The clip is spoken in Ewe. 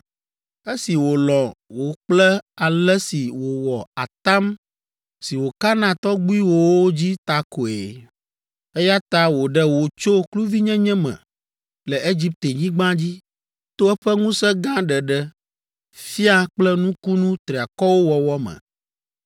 Esi wòlɔ̃ wò kple ale si wòwɔ atam si wòka na tɔgbuiwòwo dzi ta koe. Eya ta wòɖe wò tso kluvinyenye me le Egiptenyigba dzi to eƒe ŋusẽ gã ɖeɖe fia kple nukunu triakɔwo wɔwɔ me.